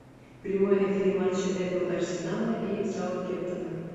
прямой эфир матча апл арсенала и саутгемптона